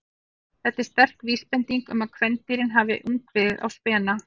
Þetta er sterk vísbending um að kvendýrin hafi haft ungviðið á spena.